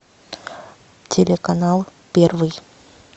телеканал первый